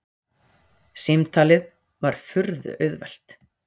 Símtalið var furðu auðvelt.